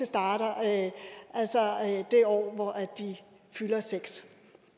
starter det år hvor de fylder seks